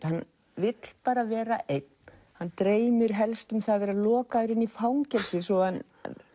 hann vill vera einn hann dreymir helst um að vera lokaður inni í fangelsi svo hann